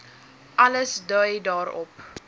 alles dui daarop